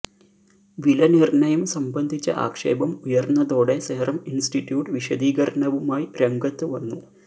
വിലനിർണയം സംബന്ധിച്ച ആക്ഷേപം ഉയർന്നതോടെ സെറം ഇൻസ്റ്റ്യൂട്ട് വിശദീകരണവുമായി രംഗത്ത് വന്നു